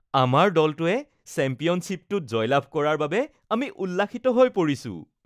আমাৰ দলটোৱে চেম্পিয়নশ্বিপটোত জয় লাভ কৰাৰ বাবে আমি উল্লাসিত হৈ পৰিছো।